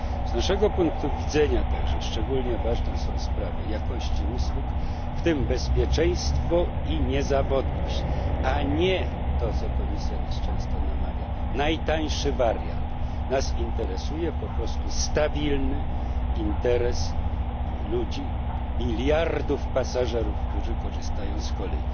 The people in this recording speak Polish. Z naszego punktu widzenia szczególnie ważna jest także sprawa jakości usług, w tym bezpieczeństwo i niezawodność, a nie to, do czego Komisja nas często namawia najtańszy wariant. Nas interesuje po prostu stabilny interes ludzi, miliardów pasażerów, którzy korzystają z kolei,